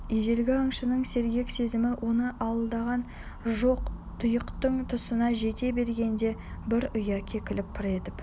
ежелгі аңшының сергек сезімі оны алдаған жоқ тұйықтың тұсына жете бергенде бір ұя кекілік пыр етіп